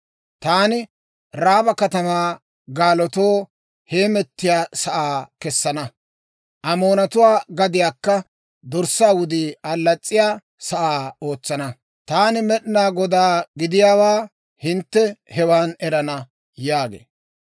Taani Raaba katamaa gaalotuu heemettiyaa sa'aa kessana; Amoonatuwaa gadiyaakka dorssaa wudii allas's'iya sa'aa ootsana. Taani Med'inaa Godaa gidiyaawaa hintte hewan erana» yaagee.